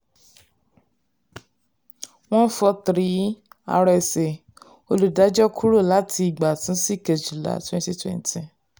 One four three RSA olùdájọ́ kúrò láti ìgbà tí sí kejìlá twenty twenty